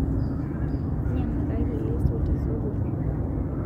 Nyiang'akaki leso tesokoni